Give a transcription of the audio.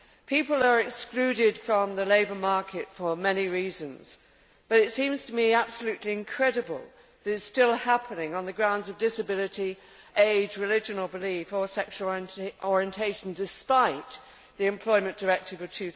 People are excluded from the labour market for many reasons, but it seems to me absolutely incredible that it is still happening on the grounds of disability, age, religion or belief, or sexual orientation despite the Employment Directive of